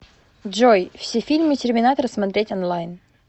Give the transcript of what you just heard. джой все фильмы терминатор смотреть онлайн